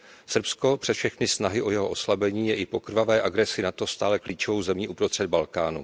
Srbsko, přes všechny snahy o jeho oslabení, je i po krvavé agresi NATO stále klíčovou zemí uprostřed Balkánu.